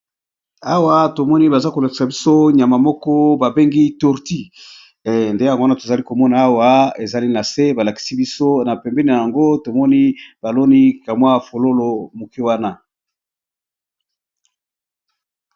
awa tomoni baza kolakisa biso nyama moko babengi tourti nde yango wana tozali komona awa ezali na se balakisi biso na pembena yango tomoni baloni kamwa fololo moke wana